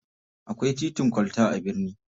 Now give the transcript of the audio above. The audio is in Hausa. Akwai titin kwalta a birni.